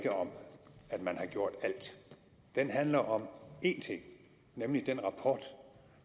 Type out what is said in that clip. om at man har gjort alt den handler om én ting nemlig den